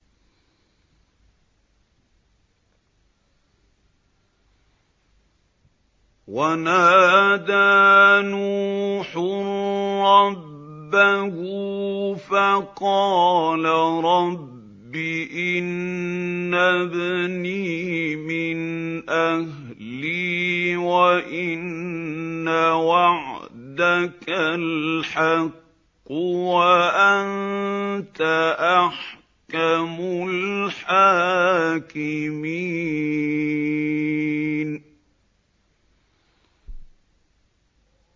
وَنَادَىٰ نُوحٌ رَّبَّهُ فَقَالَ رَبِّ إِنَّ ابْنِي مِنْ أَهْلِي وَإِنَّ وَعْدَكَ الْحَقُّ وَأَنتَ أَحْكَمُ الْحَاكِمِينَ